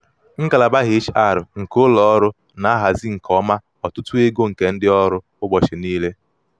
ngalaba hr nke ụlọ ọrụ na-ahazi nke ọma ọtụtụ ego ntinye um nke ndị ọrụ ụchọchị niile.